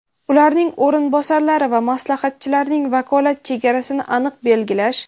ularning o‘rinbosarlari va maslahatchilarining vakolat chegarasini aniq belgilash.